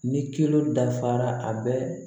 Ni kilo dafara a bɛ